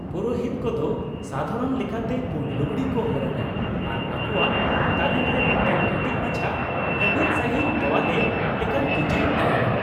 ᱯᱩᱨᱳᱦᱤᱛ ᱠᱚᱫᱚ ᱥᱟᱫᱷᱟᱨᱚᱱ ᱞᱮᱠᱟᱛᱮ ᱯᱩᱸᱰ ᱞᱩᱜᱲᱤ ᱠᱚ ᱦᱚᱨᱚᱜᱟ ᱟᱨ ᱟᱠᱳᱣᱟᱜ ᱛᱟᱨᱮᱱ ᱨᱮ ᱢᱤᱫᱴᱟᱝ ᱠᱟᱹᱴᱤᱡ ᱢᱟᱪᱷᱟ ᱞᱟᱹᱵᱤᱫ ᱥᱟᱹᱦᱤᱡ ᱛᱚᱣᱟᱞᱮ ᱞᱮᱠᱟᱱ ᱠᱤᱪᱨᱤᱡ ᱛᱟᱦᱮᱱᱟ ᱾